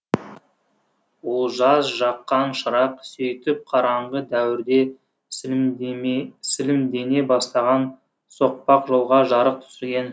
олжас жаққан шырақ сөйтіп қараңғы дәуірде сілемдене бастаған соқпақ жолға жарық түсірген